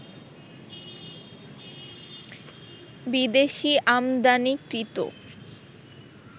বিদেশি আমদানিকৃত